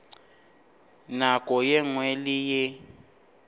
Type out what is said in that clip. nako ye nngwe le ye